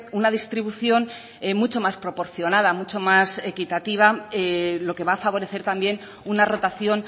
una distribución mucho más proporcionada mucho más equitativa lo que va a favorecer también una rotación